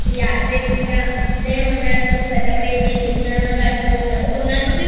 বেশি ওই Argentina অন্যান্য ব্যাপারে যে Christiano Ronaldo তারপর অন্যান্যকে